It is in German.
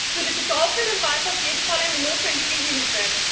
Für die Betroffenen war es auf jeden Fall eine notwendige Hilfe.